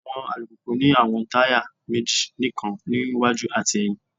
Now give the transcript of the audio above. Awọn alupupu ni awọn taya meji nikan ni iwaju ati ẹhin